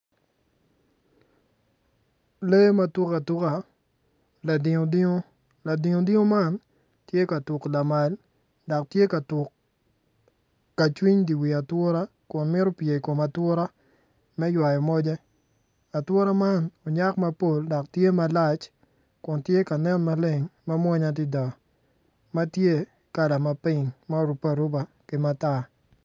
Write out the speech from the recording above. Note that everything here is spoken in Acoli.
Lee matuk atuka latio latio latio man tye ka tuku lamal dak tye ka tuk ka cwiny di wi ature kun mito pye i wi atura me ywayo moje atura man onyak mapol dok tye malac kun tye ka nen maleng mawonya adida ma tye kala ma ping ma orupe aruba matar